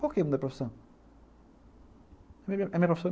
Por que mudar de profissão?